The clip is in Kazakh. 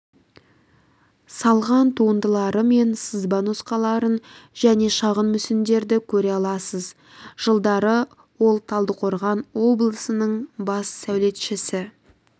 салған туындылары мен сызба нұсқаларын және шағын мүсіндерді көре аласыз жылдары ол талдықорған облысының бас сәулетшісі